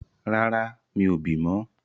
Rárá, mi ò bì mọ́.